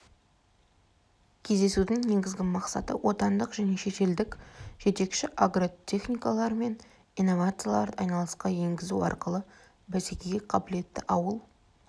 кездесудің негізгі мақсаты отандық және шетелдік жетекші агротехнологиялар мен инновацияларды айналысқа енгізу арқылы бәсекеге қабілетті ауыл